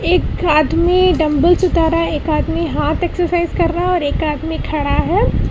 एक आदमी डंबल्स उठा रहा है एक आदमी हार्ट एक्सरसाइज कर रहा है और एक आदमी खड़ा है।